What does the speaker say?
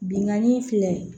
Binganni filɛ